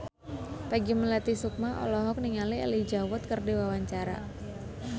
Peggy Melati Sukma olohok ningali Elijah Wood keur diwawancara